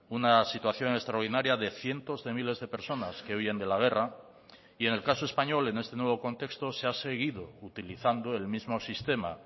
una situación extraordinaria de cientos de miles de personas que huyen de la guerra y en el caso español en este nuevo contexto se ha seguido utilizando el mismo sistema